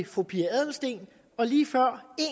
fru pia adelsteen og lige før